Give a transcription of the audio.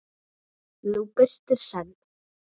nú birtir senn.